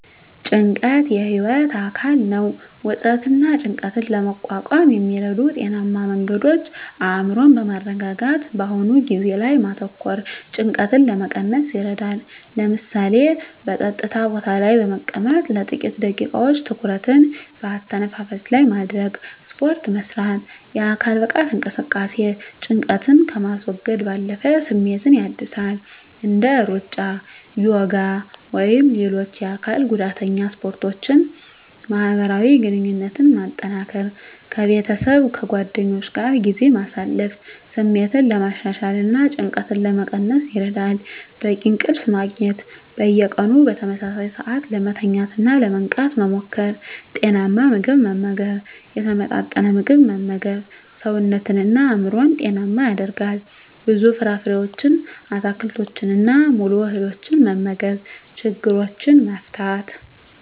ጭንቀት የህይወት አካል ነው። ውጥረትንና ጭንቀትን ለመቋቋም የሚረዱ ጤናማ መንገዶች አእምሮን በማረጋጋት በአሁኑ ጊዜ ላይ ማተኮር ጭንቀትን ለመቀነስ ይረዳል። ለምሳሌ፣ በጸጥታ ቦታ ላይ በመቀመጥ ለጥቂት ደቂቃዎች ትኩረትን በአተነፋፈስ ላይ ማድረግ። ስፖርት መስራት: የአካል ብቃት እንቅስቃሴ ጭንቀትን ከማስወገድ ባለፈ ስሜትን ያድሳል። እንደ ሩጫ፣ ዮጋ ወይም ሌሎች የአካል ጉዳተኛ ስፖርቶችን ማህበራዊ ግንኙነትን ማጠናከር ከቤተሰብና ከጓደኞች ጋር ጊዜ ማሳለፍ ስሜትን ለማሻሻልና ጭንቀትን ለመቀነስ ይረዳል። በቂ እንቅልፍ ማግኘት። በየቀኑ በተመሳሳይ ሰዓት ለመተኛትና ለመንቃት መሞከር። ጤናማ ምግብ መመገብ የተመጣጠነ ምግብ መመገብ ሰውነትንና አእምሮን ጤናማ ያደርጋል። ብዙ ፍራፍሬዎችን፣ አትክልቶችንና ሙሉ እህሎችን መመገብ። ችግሮችን መፍታት።